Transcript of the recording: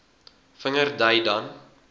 vinger dui dan